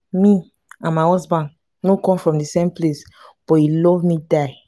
me and my husband no come from the same place but he love me die